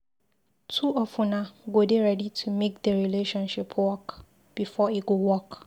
Two of una go dey ready to make di relationship work before e go work.